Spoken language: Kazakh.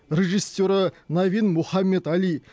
режиссері навин мохаммед али